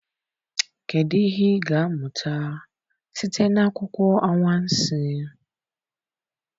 Kedụ ihe ị ga-amụta site n'akụkọ anwansi?